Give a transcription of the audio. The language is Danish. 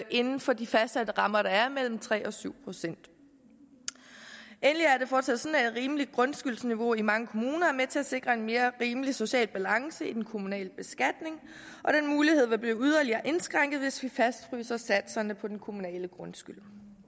inden for de fastsatte rammer der er mellem tre og syv procent endelig er det fortsat rimeligt grundskyldsniveau i mange kommuner er med til at sikre en mere rimelig social balance i den kommunale beskatning og den mulighed vil blive yderligere indskrænket hvis vi fastfryser satserne for den kommunale grundskyld